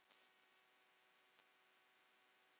Sölvi: Og hvar þá?